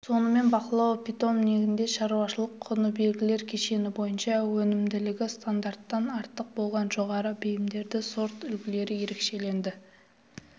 сонымен бақылау питомнигінде шаруашылық-құны белгілер кешені бойынша өнімділігі стандарттан артық болған жоғары бейімді сортүлгілер ерекшеленді